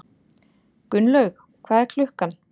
Gunnlaug, hvað er klukkan?